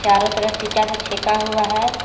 चारों तरफ ईटा से छेका हुआ है।